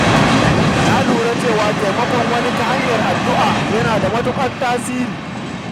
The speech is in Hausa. Na lura cewa taimakon wani ta hanyar yin addu’a yana da matuƙar tasiri.